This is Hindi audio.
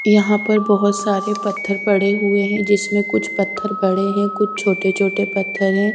यहां पर बहोत सारे पत्थर पड़े हुए है जिसमें कुछ पत्थर बड़े है और कुछ छोटे छोटे पत्थर है।